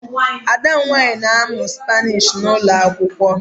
Ada m nwanyị na-amụ Spanish n'ụlọ akwụkwọ